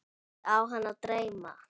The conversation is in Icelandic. Horfi á hana dreyma.